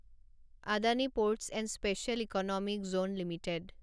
Adani Ports and Special Economic Zone limited